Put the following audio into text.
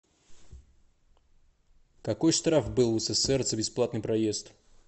какой штраф был в ссср за бесплатный проезд